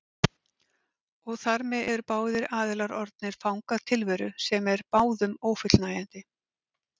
Og þar með eru báðir aðilar orðnir fangar tilveru sem er báðum ófullnægjandi.